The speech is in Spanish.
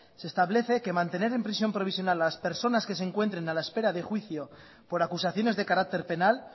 se establece que mantener en prisión provisional a las personas que se encuentren a la espera de juicio por acusaciones de carácter penal